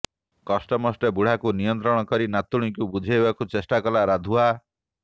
କଷ୍ଟେମଷ୍ଟେ ବୁଢାକୁ ନିୟନ୍ତ୍ରଣ କରି ନାତୁଣୀକୁ ବୁଝେଇବାକୁ ଚେଷ୍ଟା କଲା ରାଧୁଆ